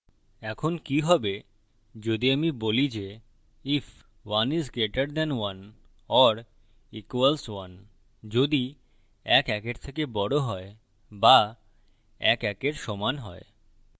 এখন কি হবে যদি আমি বলি যে if 1 is greater than 1 or equals 1 if ১ ১ এর থেকে বড় হয় বা ১ ১ এর সমান হয়